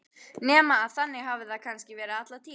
Nema að þannig hafi það kannski verið alla tíð.